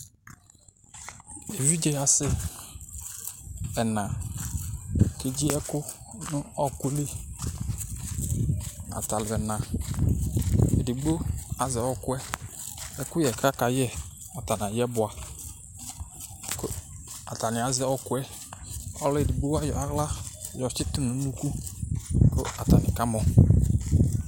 evidze asɛ ɛna, ku edzi ɛku nu ɔku li ata alu ɛna, edigbo azɛ ɔkuɛ ɛkuyɛ ku aka yɛ ata ayɛ bʋa , ku ata ni azɛ ɔkuɛ, edigbo ayɔ aɣla yɔ tsitu nu unuku ku ata ni kamɔ